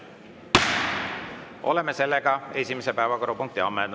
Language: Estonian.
Oleme esimese päevakorrapunkti ammendanud.